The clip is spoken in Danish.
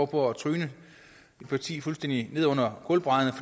på at tryne et parti fuldstændig ned under gulvbrædderne